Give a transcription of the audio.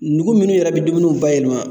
Nugu minnu yɛrɛ bi dumuniw bayɛlɛma